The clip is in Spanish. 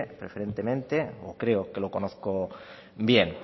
preferentemente o creo que lo conozco bien